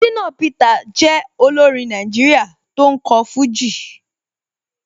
Shina Peter jẹ́ olórin Nàìjíríà tó ń kọ fújì.